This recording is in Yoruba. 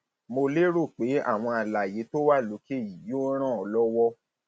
mo lérò pé àwọn àlàyé tó wà lókè yìí yóò yóò ràn ọ lọwọ